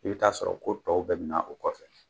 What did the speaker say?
I bɛ t'a sɔrɔ ko tɔw bɛɛ bɛna o kɔfɛ.